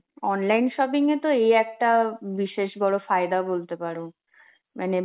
online shopping এত এই একটা বিশেষ বড় ফায়দা বলতে পারো মানে